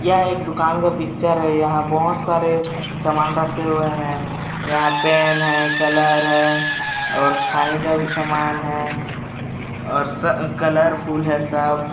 यह एक दूकान का पिक्चर है यहाँ बहोत सारे सामान रखे हुए है यहाँ पेन है कलर है और खाने का भी सामान है और सा कलरफुल है सब--